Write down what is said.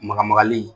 Maga magali